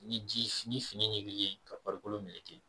Ni fini ɲikili ye ka farikolo meleke.